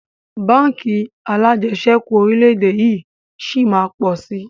Báńkì alajẹsẹ́kù orílédé yìí sí máa pọ̀ si